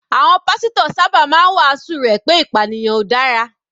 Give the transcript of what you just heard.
Àwọn pásítọ̀ sábà máa ń wàásù rẹ̀ pé ìpànìyàn ò dára.